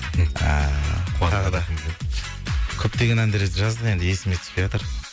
тағы да көптеген әндер жаздық енді есіме түспейатыр